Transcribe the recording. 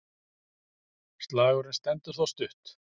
Slagurinn stendur þó stutt.